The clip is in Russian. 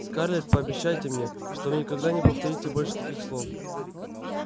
скарлетт пообещайте мне что вы никогда не повторите больше таких слов